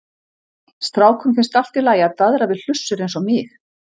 Strákum finnst alltaf í lagi að daðra við hlussur eins og mig.